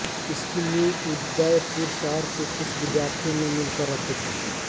इसकी नींव उदयपुर शहर के कुछ विद्यार्थियों ने मिलकर रखी थी